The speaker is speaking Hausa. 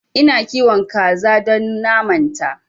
Ina kiwon kaza don naman ta